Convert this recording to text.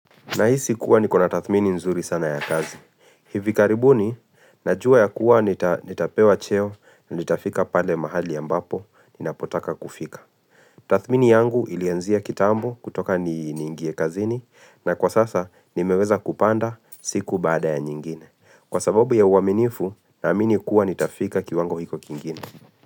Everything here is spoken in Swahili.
Nahisi kuwa nikona tathmini nzuri sana ya kazi. Hivi karibuni, najua ya kuwa nitapewa cheo, nitafika pale mahali ya mbapo, nina potaka kufika. Tathmini yangu ilianzia kitambo kutoka ni ingie kazini, na kwa sasa nimeweza kupanda siku baada ya nyingine. Kwa sababu ya uaminifu, na amini kuwa nitafika kiwango hicho kingine.